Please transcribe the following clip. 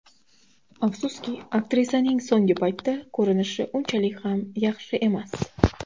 Afsuski, aktrisaning so‘nggi paytda ko‘rinishi unchalik ham yaxshi emas.